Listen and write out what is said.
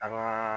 An ka